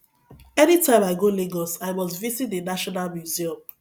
anytime i go lagos i must visit the national museum